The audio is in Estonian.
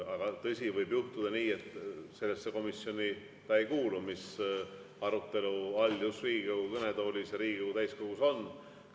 Aga tõsi, võib juhtuda nii, et ta ei kuulu sellesse komisjoni, mis just Riigikogu kõnetoolis Riigikogu täiskogus arutelu all on.